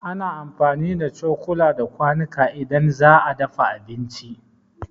Ana amfani da cokula da kwanuka idan za'a dafa abinci